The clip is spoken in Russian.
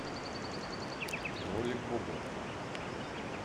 кролик бобо